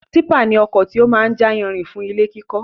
Típà ni ọkọ̀ tí ó máa ń jà yanrìn fún ilé kíkọ́